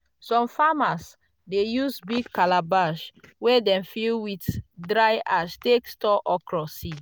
some farmers dey use big calabash wey dem fill with dry ash take store okra seed.